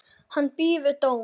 Hann bíður dóms.